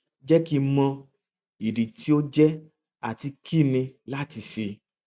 jẹ ki n mọ idi ti o jẹ ati kini lati ṣe